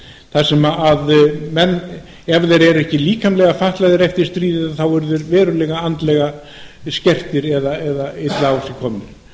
þar sem menn ef þeir eru ekki líkamlega fatlaðir eftir stríðið eru þá verulega andlega skertir eða illa á sig komnir